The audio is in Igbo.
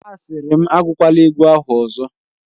Asịrị m, agụkwala egwu ahụ ọzọ!